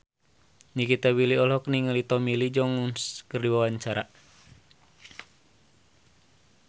Nikita Willy olohok ningali Tommy Lee Jones keur diwawancara